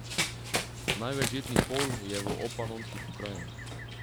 Največ žitnih polj je v Obpanonskih pokrajinah.